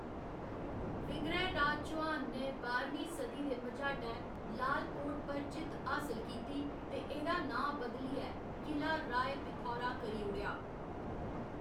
विग्रहराज चौहान ने बाह्‌रमीं सदी दे मझाटै लाल कोट पर जित्त हासल कीती ते एह्‌‌‌दा नांऽ बदलियै किला राय पिथौरा करी ओड़ेआ।